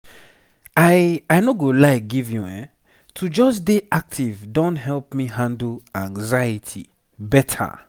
i i no go lie give youehn to just dey active don help me handle anxiety better.